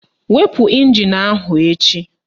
Wepu ịnjin ahụ echi!